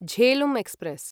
Jhelum express